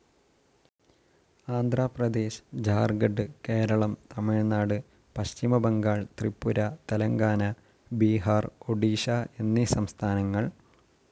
ആന്ധ്രാപ്രദേശ്, ജാർഖണ്ഡ്, കേരളം തമിഴ്നാട്, പശ്ചിമബംഗാൾ, ത്രിപുര, തെലങ്കാന, ബീഹാർ, ഒഡിഷ, എന്നീ സംസ്ഥാനങ്ങൾ.